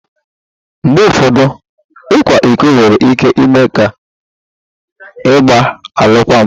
Mgbe ụfọdụ, ịkwa iko nwere ike ime ka ịgba alụkwaghịm